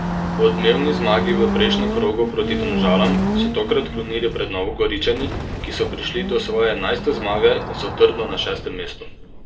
Po odmevni zmagi v prejšnjem krogu proti Domžalam so tokrat klonili pred Novogoričani, ki so prišli do svoje enajste zmage in so trdno na šestem mestu.